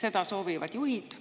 Seda soovivad juhid.